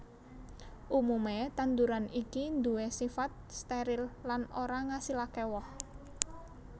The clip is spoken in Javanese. Umumé tanduran iki nduwé sifat steril lan ora ngasilaké woh